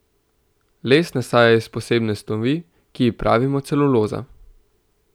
Les nastaja iz posebne snovi, ki ji pravimo celuloza.